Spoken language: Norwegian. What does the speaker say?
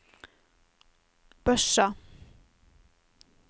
Børsa